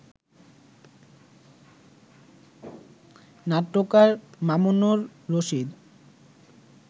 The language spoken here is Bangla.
নাট্যকার মামুনুর রশীদ